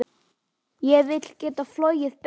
Ég vil geta flogið beint.